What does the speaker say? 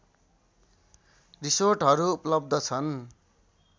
रिसोर्टहरू उपलब्ध छन्